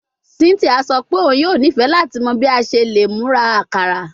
Cynthia sọ pe oun yoo nifẹ lati mọ bi o ṣe le mura akara